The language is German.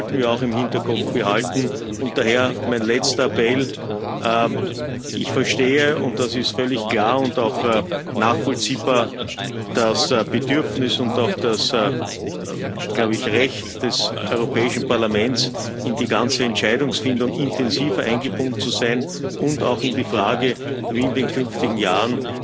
Das sollten wir auch im Hinterkopf behalten. Und daher mein letzter Appell Ich verstehe und es ist völlig klar und auch nachvollziehbar das Bedürfnis und auch glaube ich Recht des Europäischen Parlaments, in die ganze Entscheidungsfindung intensiver eingebunden zu sein und auch in die Frage, wie in den künftigen Jahren